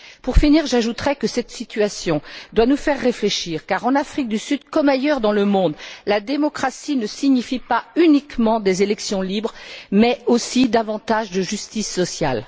Pour finir, j'ajouterai que cette situation doit nous faire réfléchir car en Afrique du Sud, comme ailleurs dans le monde, la démocratie ne signifie pas uniquement des élections libres, mais aussi davantage de justice sociale.